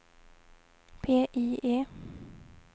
PIE